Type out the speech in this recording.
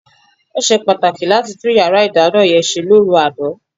Ó ṣe pàtàkì láti tún yàrá ìdáná yẹn ṣe lóru àná.